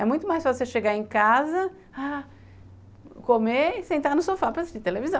É muito mais fácil você chegar em casa, ah, comer e sentar no sofá para assistir televisão.